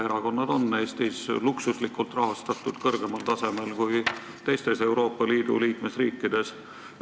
Erakonnad on Eestis luksuslikult rahastatud, kõrgemal tasemel kui teistes Euroopa Liidu liikmesriikides.